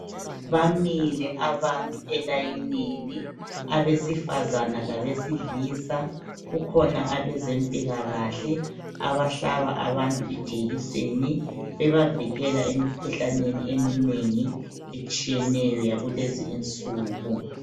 Bamile abantu elayinini, abesifazana labesilisa. Kukhona abezempilakahle abahlaba abantu ijekiseni bebavikela emikhuhlaneni eminengi etshiyeneyo yakulezi insuku.